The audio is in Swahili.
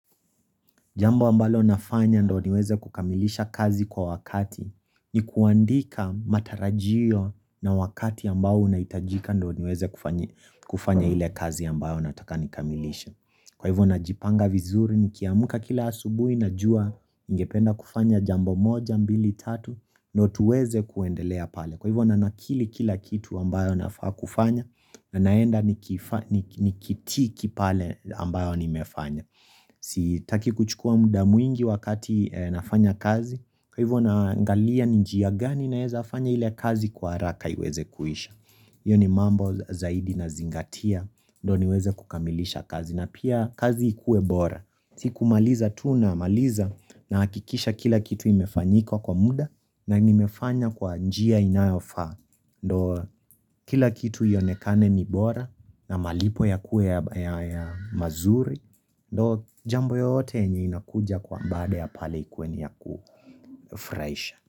Jambo ambalo nafanya ndio niweze kukamilisha kazi kwa wakati, ni kuandika matarajio na wakati ambao unahitajika ndio niweze kufanyi kufanya ile kazi ambayo nataka nikamilishe. Kwa hivyo najipanga vizuri nikiamka kila asubuhi najua ningependa kufanya jambo moja, mbili, tatu ndio tuweze kuendelea pale. Kwa hivyo na nakili kila kitu ambayo nafaa kufanya, na naenda ni kitiki pale ambayo nimefanya. Sitaki kuchukua muda mwingi wakati nafanya kazi, Kwa hivyo naangalia ni njia gani nawezafanya ile kazi kwa haraka iweze kuisha hiyo ni mambo zaidi nazingatia, ndio niweze kukamilisha kazi, na pia kazi ikuwe bora. Si kumaliza tu namaliza nahakikisha kila kitu imefanyika kwa muda, na nimefanya kwa njia inayofaa Ndio, kila kitu ionekane ni bora, na malipo yakuwe ya mazuri Ndio jambo yote yenye inakuja kwa baada ya pale ikuwe ni yakufurahisha.